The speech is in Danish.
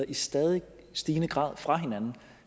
i stadig stigende grad glider fra hinanden